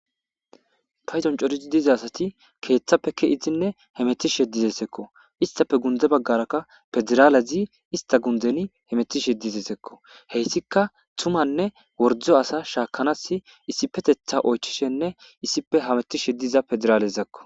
Payzon corizi diza asati keeththappe ki izinne hemetishe dizesekko istappe gunde baggarakka pederaalezi ista gundeni hemetishe dizesekko heyssika tumanne wordzo asa shaakanas issipetetha oychishenne issipe hametishe diza pederaale zakko.